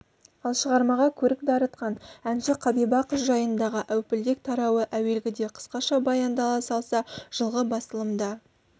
ал шығармаға көрік дарытқан әнші қабиба қыз жайындағы әупілдек тарауы әуелгіде қысқаша баяндала салса жылғы басылымда